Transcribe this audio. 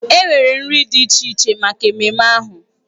Enwere nri dị iche iche maka ememme ahụ.